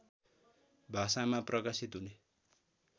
भाषामा प्रकाशित हुने